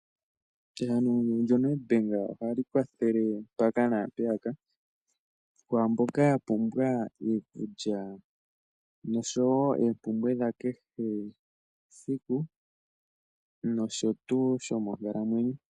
Ehangano lyoNedbank ohali kwathele mpaka naampeyaka, kwaamboka yapumbwa iikulya, noshowo oompumbwe dhakehe siku, nosho tuu.